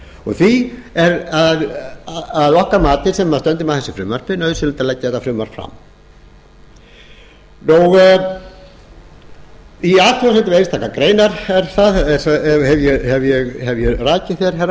því er að okkar mati sem stöndum að þessu frumvarpi nauðsynlegt að leggja þetta frumvarp fram í athugasemdum við einstakar greinar hef ég rakið hér herra